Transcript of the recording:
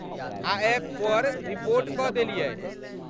आ ऐपपर रिपोर्ट कऽ देलियै।